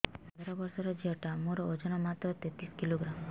ମୁ ପନ୍ଦର ବର୍ଷ ର ଝିଅ ଟା ମୋର ଓଜନ ମାତ୍ର ତେତିଶ କିଲୋଗ୍ରାମ